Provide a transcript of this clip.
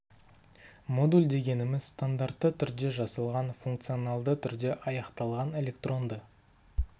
модуль дегеніміз стандартты түрде жасалған функционалды түрде аяқталған электронды